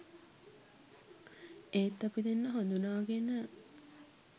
ඒත් අපි දෙන්නා හඳුනාගෙන